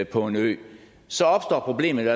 på en ø så opstår problemet